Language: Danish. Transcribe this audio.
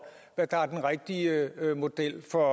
hvad der er den rigtige model for